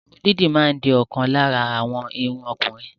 Irun didi ma di okan lara awon irun okunrin